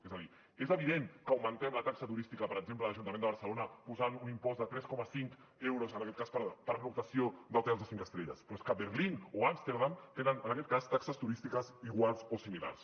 és a dir és evident que augmentem la taxa turística per exemple a l’ajuntament de barcelona posant un impost de tres coma cinc euros en aquest cas per pernoctació en hotels de cinc estrelles però és que berlín o amsterdam tenen en aquest cas taxes turístiques iguals o similars